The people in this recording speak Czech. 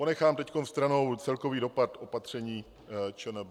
Ponechám teď stranou celkový dopad opatření ČNB.